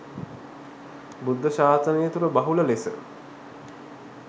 බුද්ධ ශාසනය තුළ බහුල ලෙස